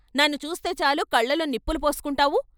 నన్ను చూస్తేచాలు కళ్ళలో నిప్పులు పోసుకుంటావు.